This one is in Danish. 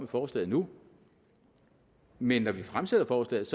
forslaget nu men når vi fremsætter forslaget